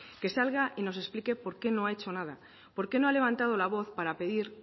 que salga y nos explique por qué no ha hecho nada por qué no ha levantado la voz para pedir